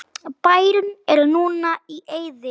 Bærinn er núna í eyði.